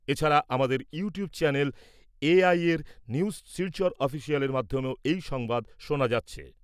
এছাড়া, আমাদের YouTube channel এ আইয়ের নিউজ শিলচর অফিসিয়ালের মাধ্যমেও এই সংবাদ শোনা যাচ্ছে।